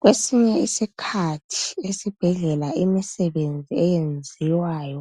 Kwesinye isikhathi esibhedlela imisebenzi eyenziwayo,